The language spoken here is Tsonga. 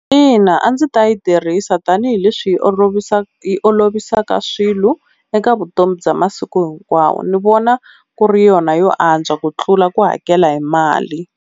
Ina a ndzi ta yi tirhisa tanihileswi yi yi olovisaka swilo eka vutomi bya masiku hinkwawo ni vona ku ri yona yo antswa ku tlula ku hakela hi mali.